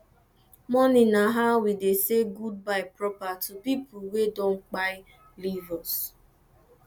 mourning na how we dey say goodbye proper to pipo wey don kpai leave us